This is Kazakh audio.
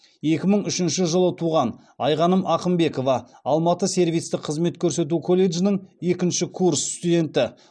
екі мың үшінші жылы туған айғаным ақымбекова алматы сервистік қызмет көрсету колледжінің екінші курс студенті